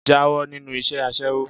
Jáwó̩ nínú is̩é̩ as̩é̩wó!